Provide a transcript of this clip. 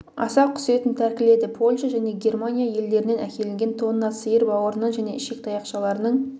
аса құс етін тәркіледі польша және германия елдерінен әкелінген тонна сиыр бауырынан және ішек таяқшаларының